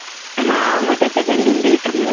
ହଁ ମୁଁ ତତେ ବେଲୁନ ଦେଇଥିଲି